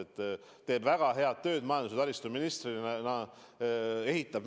Ta teeb väga head tööd majandus- ja taristuministrina, ehitab.